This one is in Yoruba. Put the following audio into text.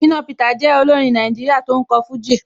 Shina Peter jẹ́ olórin Nàìjíríà tó ń kọ fújì.